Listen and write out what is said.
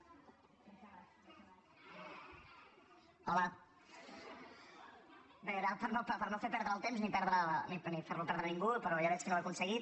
bé era per no perdre el temps ni fer lo perdre a ningú però ja veig que no ho he aconseguit